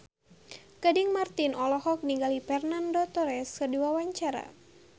Gading Marten olohok ningali Fernando Torres keur diwawancara